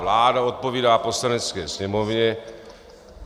Vláda odpovídá Poslanecké sněmovně.